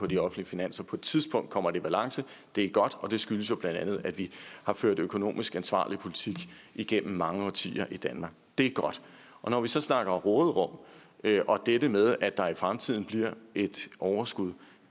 de offentlige finanser på et tidspunkt kommer det i balance det er godt og det skyldes jo bla at vi har ført økonomisk ansvarlig politik igennem mange årtier i danmark det er godt når vi så snakker råderum og dette med at der i fremtiden bliver et overskud